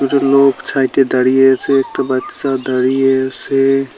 কিছু লোক সাইডে দাঁড়িয়ে আছে একটা বাচ্চা দাঁড়িয়ে আসে ।